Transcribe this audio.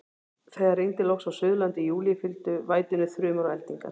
Þegar rigndi loks á Suðurlandi í júlí, fylgdu vætunni þrumur og eldingar.